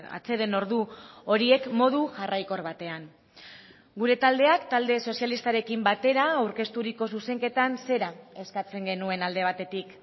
atseden ordu horiek modu jarraikor batean gure taldeak talde sozialistarekin batera aurkezturiko zuzenketan zera eskatzen genuen alde batetik